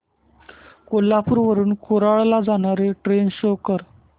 कोल्हापूर वरून कुडाळ ला जाणारी ट्रेन शो कर